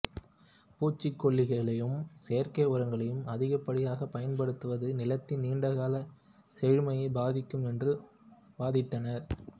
பூச்சிக்கொல்லிகளையும் செயற்கை உரங்களையும் அதிகப்படியாக பயன்படுத்துவது நிலத்தில் நீண்டகாலச் செழுமையை பாதிக்கும் என்று வாதிட்டனர்